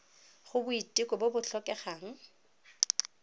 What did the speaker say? go boiteko bo bo tlhokegang